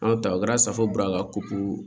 Anw ta o kɛra safo bɔra a ka kopu